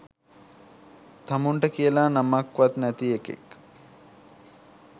තමුන්ට කියලා නමක් වත් නැති එකෙක්